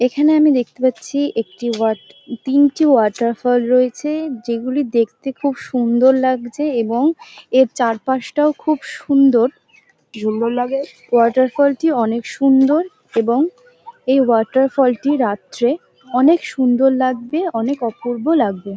এখানে আমি দেখতে পাচ্ছি একটি ওয়াটা তিনটি ওয়াটারফল রয়েছে যেগুলি দেখতে খুব সুন্দর লাগছে এবং এর চারপাশটাও খুব সুন্দর। ওয়াটারফল -টি অনেক সুন্দর এবং এই ওয়াটারফল - টি রাত্রে অনেক সুন্দর লাগবে অনেক অপূর্ব লাগবে।